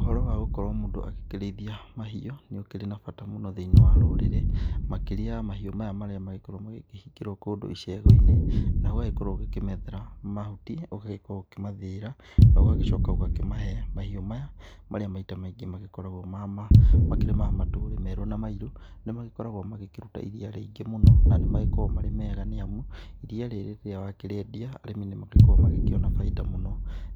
Ũhoro wagũkorwo mũndũ agĩkĩrĩithia mahiũ nĩ ũkĩrĩ na bata mũno thĩ-inĩ wa rũrĩrĩ makĩrĩa mahiũ maya marĩa magĩkoragwo magĩkĩhingĩrwo kũndũ icegũ-inĩ. Na ũgagĩkorwo ũkĩmethera mahuti, ũgagĩkorwo ũkĩmathĩĩra, na ũgagĩcoka ũgakĩmahe. Mahiũ maya marĩa maita maingĩ magĩkoragwo makĩrĩ ma merũ na mairũ, nĩmagĩkoragwo magĩkĩruta iria rĩingĩ mũno na nĩmagĩkoragwo marĩ mega nĩamu iria rĩrĩ rĩrĩa wakĩrĩendia arĩmi nĩmagĩkoragwo magĩkĩona baida mũno.